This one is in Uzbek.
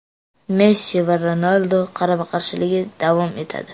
Messi va Ronaldu qarama-qarshiligi davom etadi.